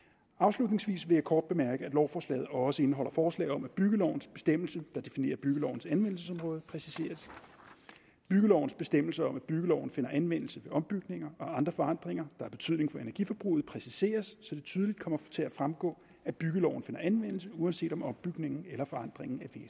afslutningsvis vil jeg kort bemærke at lovforslaget også indeholder forslag om at byggelovens bestemmelse der definerer byggelovens anvendelsesområde præciseres byggelovens bestemmelse om at byggeloven finder anvendelse ved ombygninger og andre forandringer har betydning for energiforbruget præciseres så det tydeligt kommer til at fremgå at byggeloven finder anvendelse uanset om ombygningen eller forandringen er